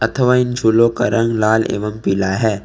अथवा इन फूलों का रंग लाल एवं पीला है।